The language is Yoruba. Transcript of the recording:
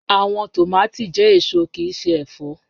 Awọn tomati jẹ eso kii ṣe ẹfọ